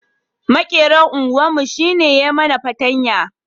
Maƙeran unguwar mu shi ne ya mana patanya